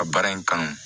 Ka baara in kanu